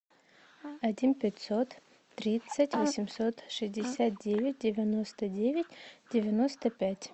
один пятьсот тридцать восемьсот шестьдесят девять девяносто девять девяносто пять